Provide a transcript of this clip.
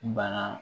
Bana